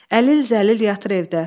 İndi əlil zəlil yatır evdə.